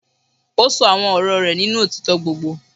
Ó ṣọ àwọn ọ̀rọ̀ rẹ̀ nínú òtítọ́ gbogbo.